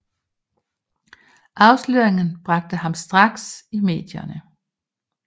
Afsløringen bragte ham straks i medierne